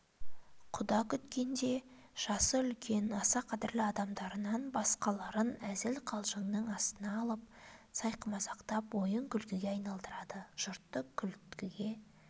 құда күткенде жасы үлкен аса қадірлі адамдарынан басқаларын әзіл-қалжыңның астына алып сайқымазақтап ойын-күлкіге айналдырады жұртты күлкіге